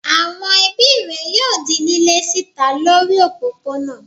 Àwon ebí rè yóò di lílé síta lórí òpópónà